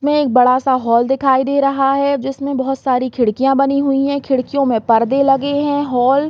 में एक बड़ा-सा हॉल दिखाई दे रहा है जिसमे बोहोत सारी खिड़कियां बनी हुई है खिड़कियों में पर्दे लगे है हॉल --